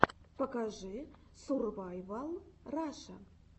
покажи сурвайвал раша